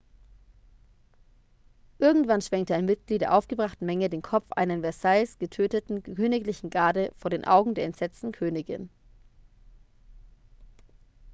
irgendwann schwenkte ein mitglied der aufgebrachten menge den kopf einer in versailles getöteten königlichen garde vor den augen der entsetzten königin